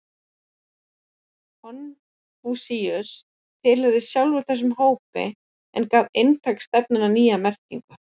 Konfúsíus tilheyrði sjálfur þessum hópi en gaf inntaki stefnunnar nýja merkingu.